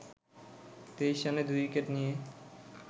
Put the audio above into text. ২৩ রানে ২ উইকেট নিয়ে